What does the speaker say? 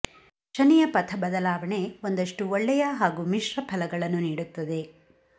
ಶನಿಯ ಪಥ ಬದಲಾವಣೆ ಒಂದಷ್ಟು ಒಳ್ಳೆಯ ಹಾಗೂ ಮಿಶ್ರ ಫಲಗಳನ್ನು ನೀಡುತ್ತದೆ